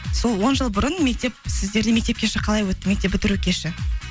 сол он жыл бұрын мектеп сіздерде мектеп кеші қалай өтті мектеп бітіру кеші